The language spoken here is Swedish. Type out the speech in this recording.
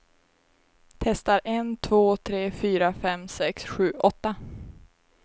Testar en två tre fyra fem sex sju åtta.